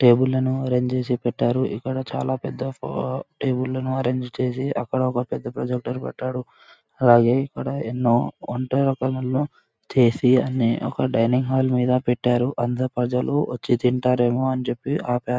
Table ను arrange చేసి పెట్టారు. ఇక్కడ చాలా పెద్ద టేబుళ్లను ఎరెంజ్ చేసి అక్కడ ఒక పెద్ద ప్రొజక్టర్ పెట్టాడు. అలాగే ఇక్కడ ఎన్నో వంట రకాలను చేసి అన్ని అక్కడ డైనింగ్ హాల్ మీద పెట్టారు అంతా. ప్రజలు వచ్చి తింటారేమో అని చెప్పి ఆ పే--